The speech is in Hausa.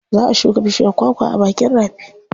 Za a shuka bishiyar kwakwa a bakin rafi.